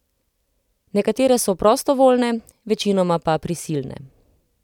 Nekatere so prostovoljne, večinoma pa prisilne.